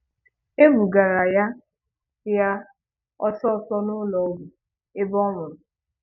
E bugara ya ya ọsọ ọsọ n’ụlọ ọgwụ ebe ọ nwụrụ.